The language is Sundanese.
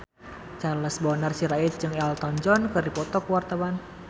Charles Bonar Sirait jeung Elton John keur dipoto ku wartawan